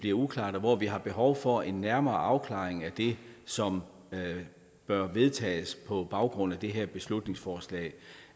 er uklare og hvor vi har behov for en nærmere afklaring af det som bør vedtages altså på baggrund af det her beslutningsforslag